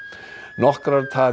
nokkrar tafir